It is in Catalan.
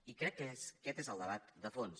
i crec que aquest és el debat de fons